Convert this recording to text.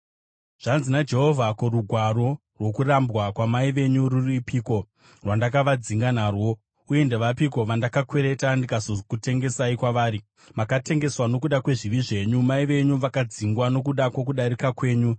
Zvanzi naJehovha: “Ko, rugwaro rwokurambwa kwamai venyu rwuripiko rwandakavadzinga narwo? Uye ndevapiko vandakakwereta ndikazokutengesai kwavari? Makatengeswa nokuda kwezvivi zvenyu; mai venyu vakadzingwa nokuda kwokudarika kwenyu.